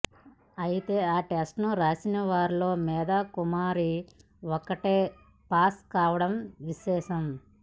అయితే ఆ టెస్ట్ను రాసిన వారిలో మేథా కుమారి ఒక్కతే పాస్ కావడం విశేషం